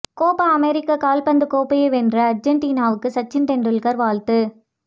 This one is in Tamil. கோபா அமெரிக்கா கால்பந்து கோப்பையை வென்ற அர்ஜென்டினாவுக்கு சச்சின் டெண்டுல்கர் வாழ்த்து